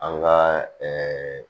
An ka ɛɛ